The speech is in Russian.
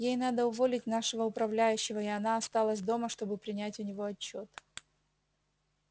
ей надо уволить нашего управляющего и она осталась дома чтобы принять у него отчёт